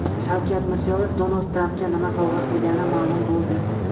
Shavkat Mirziyoyev Donald Trampga nima sovg‘a qilgani ma’lum bo‘ldi.